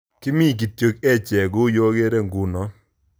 Kimi kityo echek kou yuekere dunno